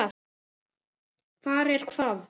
Hvar er hvað?